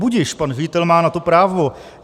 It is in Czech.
Budiž, pan ředitel má na to právo.